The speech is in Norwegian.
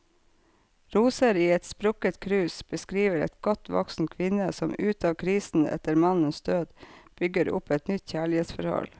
Roser i et sprukket krus beskriver en godt voksen kvinne som ut av krisen etter mannens død, bygger opp et nytt kjærlighetsforhold.